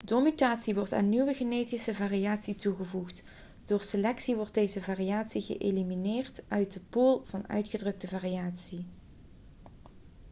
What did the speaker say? door mutatie wordt er nieuwe genetische variatie toegevoegd door selectie wordt deze variatie geëlimineerd uit de pool van uitgedrukte variatie